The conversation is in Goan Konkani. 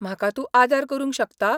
म्हाका तूं आदार करूंक शकता?